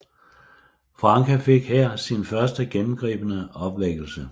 Francke fik her sin første gennemgribende opvækkelse